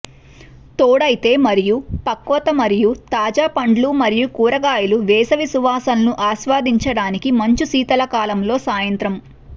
తోడైతే మరియు పక్వత మరియు తాజా పండ్లు మరియు కూరగాయలు వేసవి సువాసనలు ఆస్వాదించడానికి మంచు శీతాకాలంలో సాయంత్రం